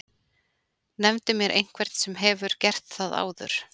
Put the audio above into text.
Nefndu mér einhvern sem hefur gert það áður?!